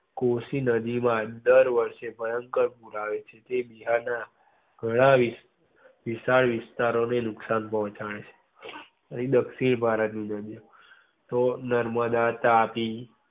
કોશી નદી માં દર વર્ષે ભયંકર પૂર આવે છે. જે બિહાર ના ધોળાવી વિશાલ વિસ્તારો ને નુકશાન પોંહચાડે છે. દક્ષિણ ભારત ની નદી તો નર્મદા, તાપી.